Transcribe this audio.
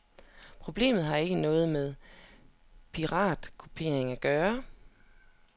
Problemet har ikke noget med piratkopiering at gøre.